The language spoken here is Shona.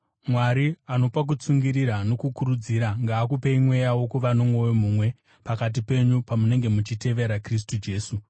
Mwari anopa kutsungirira nokukurudzira ngaakupei mweya wokuva nomwoyo mumwe pakati penyu pamunenge muchitevera Kristu Jesu,